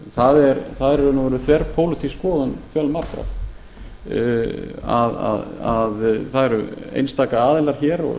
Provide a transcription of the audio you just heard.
það er í raun og veru þverpólitísk skoðun fjölmargra það eru einstaka aðilar hér og